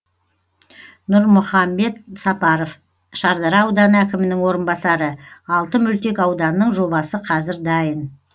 нұрмұхамбет сапаров шардара ауданы әкімінің орынбасары алты мөлтек ауданның жобасы қазір дайын